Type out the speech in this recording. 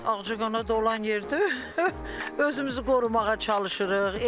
Ağcaqanad olan yerdə özümüzü qorumağa çalışırıq.